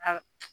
A